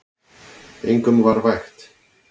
Engum var vægt.